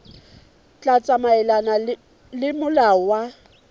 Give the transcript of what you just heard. tla tsamaelana le molao wa